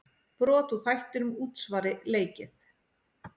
Brot úr þættinum Útsvari leikið.